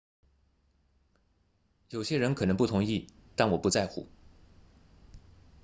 有些人可能不同意但我不在乎